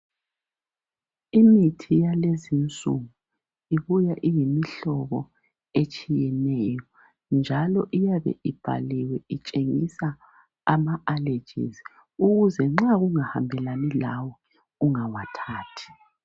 Imithi yakulezinsuku ibuya iyimhlobo etshiyeneyo njalo iyabe ibhaliwe itshengisa ama allergies ukuze nxa kungahambe lani lawe ungawathathi.